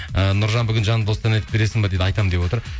ы нұржан бүгін жанды дауыста ән айтып бересің бе дейді айтамын деп отыр